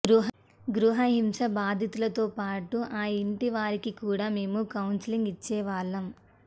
గృహహింస బాధితులతోపాటు ఆ ఇంటి వారికి కూడా మేము కౌన్సెలింగ్ ఇచ్చేవాళ్లం